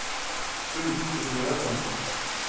Ulf Røren